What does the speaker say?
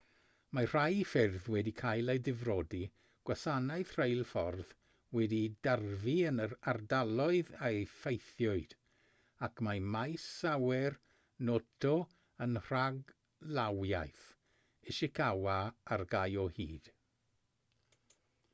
mae rhai ffyrdd wedi cael eu difrodi gwasanaeth rheilffordd wedi'i darfu yn yr ardaloedd a effeithiwyd ac mae maes awyr noto yn rhaglawiaeth ishikawa ar gau o hyd